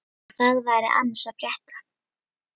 Hvað væri annars að frétta?